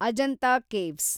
Ajanta caves